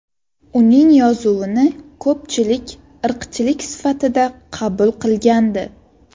Uning yozuvini ko‘pchilik irqchilik sifatida qabul qilgandi.